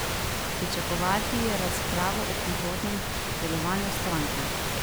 Pričakovati je razpravo o prihodnjem delovanju stranke.